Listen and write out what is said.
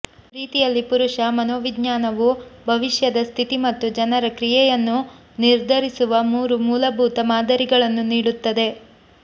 ಪ್ರೀತಿಯಲ್ಲಿ ಪುರುಷ ಮನೋವಿಜ್ಞಾನವು ಭವಿಷ್ಯದ ಸ್ಥಿತಿ ಮತ್ತು ಜನರ ಕ್ರಿಯೆಯನ್ನು ನಿರ್ಧರಿಸುವ ಮೂರು ಮೂಲಭೂತ ಮಾದರಿಗಳನ್ನು ನೀಡುತ್ತದೆ